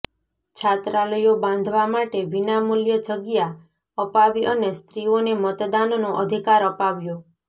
છાત્રાલયો બાંધવા માટે વિનામૂલ્ય જગ્યા અપાવી અને સ્ત્રીઓને મતદાનનો અધિકાર અપાવ્યો